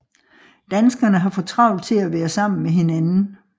Danskerne har for travlt til at være sammen med hinanden